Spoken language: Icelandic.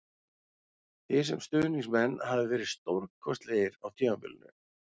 Þið sem stuðningsmenn hafið verið stórkostlegir á tímabilinu